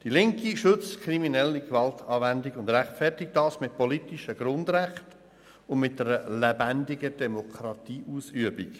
Die Linke schützt kriminelle Gewaltanwendung und rechtfertigt das mit politischen Grundrechten sowie einer lebendigen Demokratieausübung.